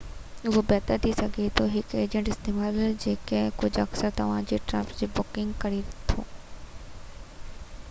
اهو بهتر ٿي سگهي ٿو ته هڪ ايجنٽ استعمال ڪجي جيڪو اڪثر توهان جي ٽرپس جي بڪنگ ڪري ٿو